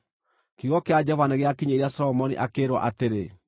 Kiugo kĩa Jehova nĩgĩakinyĩire Solomoni, akĩĩrwo atĩrĩ: